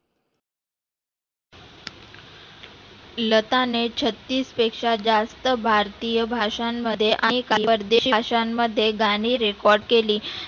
लता ने छत्तीस पेक्षा जास्त भारतीय भाषां मध्ये परदेशात शाळांमध्ये गाणी record केली.